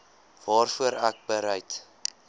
waarvoor ek bereid